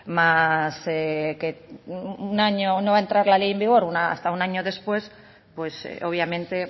más que un año no va a entrar la ley en vigor hasta un año después pues obviamente